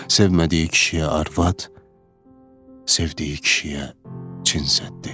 Sevmədiyi kişiyə arvad, sevdiyi kişiyə cinsəddi.